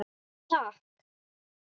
Takk